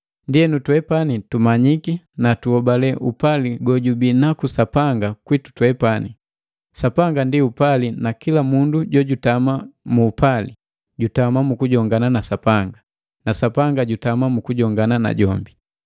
Ndienu, twepani tumanyiki na tuhobale upali gojubii naku Sapanga kwitu twepani. Sapanga ndi upali na kila mundu jojutama mu upali, jutama mu kujongana na Sapanga, na Sapanga jutama mu kujongana najombi.